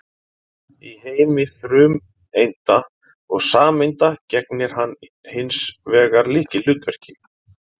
Í heimi frumeinda og sameinda gegnir hann hins vegar lykilhlutverki.